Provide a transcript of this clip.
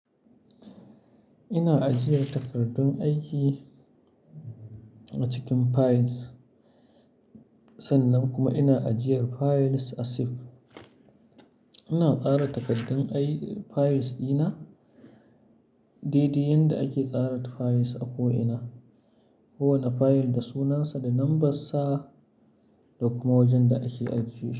Ina ajiyar takardun aiki a cikin files sannan kuma ina ajiyar files a zip. Ina tsara takardun files ɗina, daidai yanda ake tsara files a ko'ina. Kowane file da sunansa da lambarsa, da kuma wajen da ake ajiye shi.